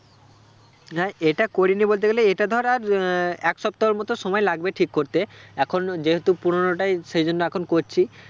না এটা করিনি বলতে গেলে এটা ধর আর আহ এক সপ্তাহর মতো সময় লাগবে ঠিক করতে এখন যেহেতু পুরোনোটাই সে জন্য এখন করছি